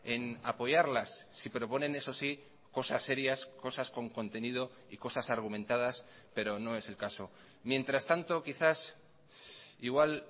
en apoyarlas si proponen eso sí cosas serias cosas con contenido y cosas argumentadas pero no es el caso mientras tanto quizás igual